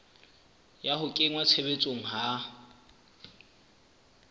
ya ho kenngwa tshebetsong ha